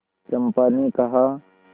चंपा ने कहा